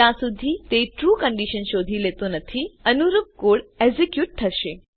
જ્યાં સુધી તે ટ્રૂ કંડીશન શોધી લેતો નથી અનુરૂપ કોડ એક્ઝેક્યુટ થશે